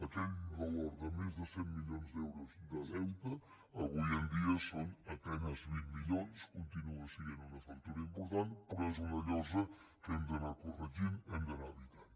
aquell valor de més de cent milions d’euros de deute avui dia són a penes vint milions continua sent una factura important però és una llosa que hem d’anar corregint hem d’anar evitant